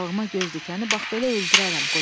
Balığıma göz dikəni bax belə öldürərəm,